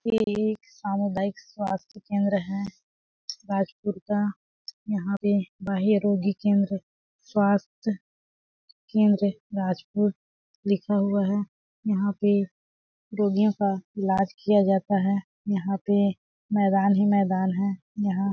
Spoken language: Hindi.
ये एक सामुदायिक स्वास्थ्य केंद्र है भाजपुर का यहाँ पे बाह्य रोगी केंद्र स्वस्थ्य केंद्र राजपुर लिखा हुआ है यहाँ पे रोगिओ का इलाज किया जाता है यहाँ पे मैदान ही मैदान है यहाँ --